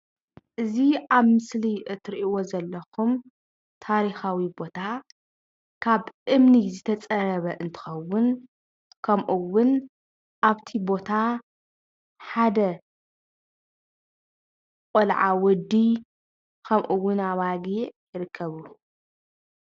እዚ ኣብ ምስሊ እትሪእዎ ዘለኹም ታሪኻዊ ቦታ ካብ እምኒ ዝተፀረበ እንትኸውን ከምኡ እውን አፍቲ ቦታ ሓደ ቆልዓ ወዲ ከምኡ እውን ኣባጊዕ ይርከብዎም።